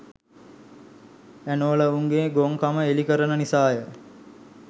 ඇනෝල උන්ගේ ගොන් කම එළි කරන නිසාය .